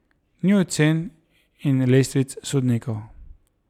Ni ocen in lestvic sodnikov.